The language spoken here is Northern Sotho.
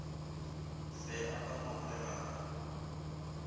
fe a ka ngongorega ka